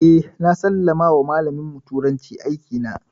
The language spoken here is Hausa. Eh, na sallama wa malamin mu turanci, aiki na